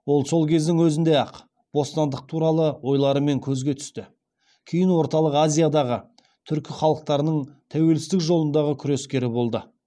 ол сол кездің өзінде ақ бостандық туралы ойларымен көзге түсті кейін орталық азиядағы түркі халықтарының тәуелсіздік жолындағы күрескері болды